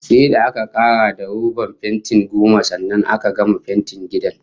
Sai da aka karar da robat fenti goma sannan aka gama fentin gidan